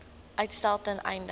uitstel ten einde